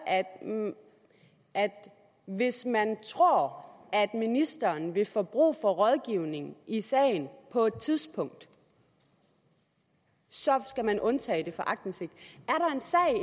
at hvis man tror at ministeren vil få brug for rådgivning i sagen på et tidspunkt så skal man undtage det for aktindsigt